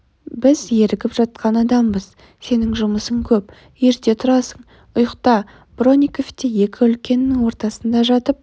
біз ерігіп жатқан адамбыз сенің жұмысың көп ерте тұрасың ұйықта бронников те екі үлкеннің ортасында жатып